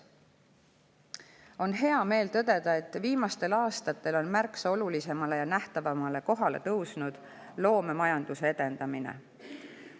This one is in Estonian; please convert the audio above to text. On hea meel tõdeda, et viimastel aastatel on märksa olulisemale ja nähtavamale kohale tõusnud loomemajanduse edendamine.